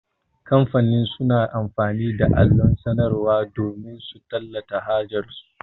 Kamfani suna amfani da allon sanarwar damin su tallata hajar su.